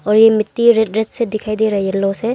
और ये मिट्टी रेड रेड से दिखाई दे रहे है येलो से।